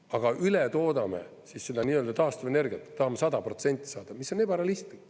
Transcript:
Aga üle toodame taastuvenergiat, tahame 100% saada, mis on ebarealistlik.